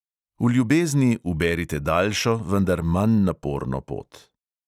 V ljubezni uberite daljšo, vendar manj naporno pot.